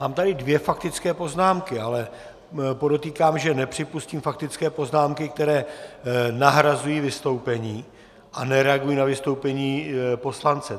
Mám tady dvě faktické poznámky, ale podotýkám, že nepřipustím faktické poznámky, které nahrazují vystoupení a nereagují na vystoupení poslance.